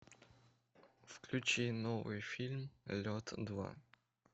включи новый фильм лед два